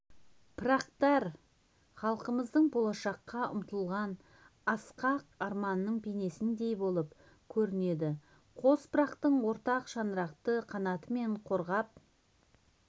пырақтар халқымыздың болашаққа ұмтылған асқақ арманының бейнесіндей болып көрінеді қос пырақтың ортақ шаңырақты қанатымен қорғап